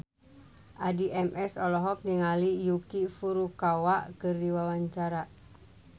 Addie MS olohok ningali Yuki Furukawa keur diwawancara